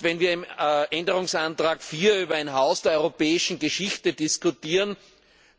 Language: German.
Wenn wir im Änderungsantrag 4 über ein Haus der europäischen Geschichte diskutieren,